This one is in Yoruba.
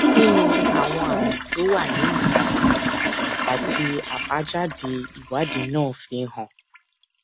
kí ni àwọn àmì tó wà nísàlè yìí àti àbájáde ìwádìí náà fi hàn